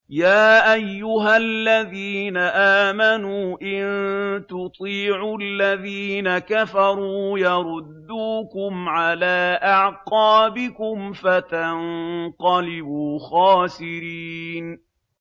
يَا أَيُّهَا الَّذِينَ آمَنُوا إِن تُطِيعُوا الَّذِينَ كَفَرُوا يَرُدُّوكُمْ عَلَىٰ أَعْقَابِكُمْ فَتَنقَلِبُوا خَاسِرِينَ